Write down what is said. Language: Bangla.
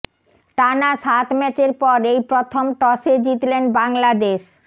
টানা সাত ম্যাচের পর এই প্রথম টসে জিতলেন বাংলাদেশ